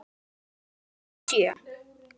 Ekki síst í sjö.